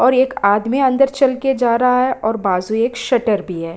और एक आदमी अंदर चल के जा रहा है और बाजू एक शटर भी है।